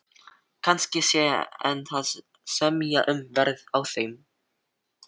Kannski hann sé enn að semja um verð á þeim.